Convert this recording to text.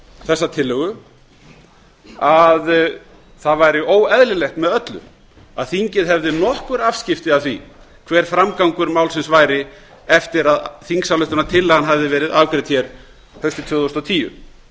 þessa tillögu að það væri óeðlilegt með öllu að þingið hefði nokkur afskipti af því hver framgangur málsins væri eftir að þingsályktunartillagan hafði verið afgreidd haustið tvö þúsund og tíu